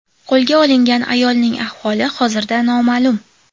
Qo‘lga olingan ayolning ahvoli hozirda noma’lum.